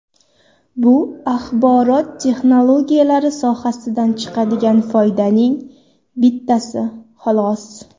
Bu axborot texnologiyalari sohasidan chiqadigan foydaning bittasi, xolos.